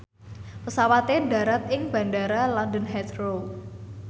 pesawate ndharat ing Bandara London Heathrow